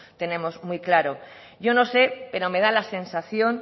tenemos muy claro yo no sé pero me da la sensación